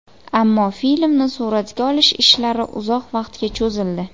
Ammo filmni suratga olish ishlari uzoq vaqtga cho‘zildi.